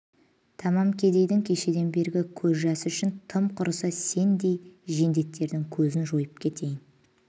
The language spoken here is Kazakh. тамам кедейдің кешеден бергі көз жасы үшін тым құрыса сендердей жендеттердің көзін жойып кетейін